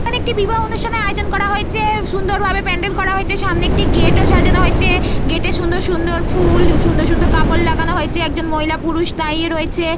এখন একটি বিবাহ অনুষ্ঠানের আয়োজন করা হয়েছে। সুন্দর ভাবে প্যান্ডেল করা হয়েছে। সামনে একটি গেট ও সাজানো হয়েছে। গেট এ সুন্দর সুন্দর ফুল ও সুন্দর সুন্দর কাপড় লাগানো হয়েছে। একজন মহিলা পুরুষ দাঁড়িয়ে রয়েছে।